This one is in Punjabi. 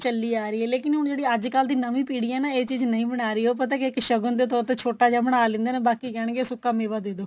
ਚੱਲੀ ਆ ਰਹੀ ਏ ਲੇਕਿਨ ਹੁਣ ਜਿਹੜੀ ਅੱਜਕਲ ਦੀ ਨਵੀ ਪੀੜੀ ਏ ਨਾ ਇਹ ਚੀਜ਼ ਨਹੀਂ ਬਣਾ ਰਹੀ ਉਹ ਪਤਾ ਕਿਆ ਏ ਸ਼ਗੁਨ ਦੇ ਤੋਰ ਤੇ ਛੋਟਾ ਜਾ ਬਣਾ ਲੈਂਦੇ ਨੇ ਬਾਕੀ ਕਹਿਣਗੇ ਸੁੱਕਾ ਮੇਵਾ ਦੇਦੋ